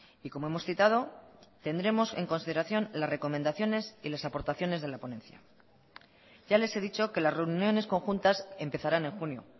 y como hemos citado tendremos en consideración las recomendaciones y las aportaciones de la ponencia ya les he dicho que las reuniones conjuntas empezarán en junio